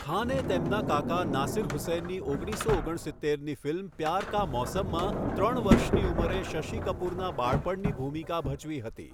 ખાને તેમના કાકા નાસિર હુસૈનની ઓગણીસો ઓગણસિત્તેરની ફિલ્મ 'પ્યાર કા મૌસમ'માં ત્રણ વર્ષની ઉંમરે શશિ કપૂરના બાળપણની ભૂમિકા ભજવી હતી.